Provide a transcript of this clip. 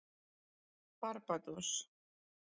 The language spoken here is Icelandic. Barbados